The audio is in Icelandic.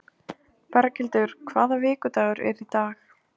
Berghildur, hvaða vikudagur er í dag?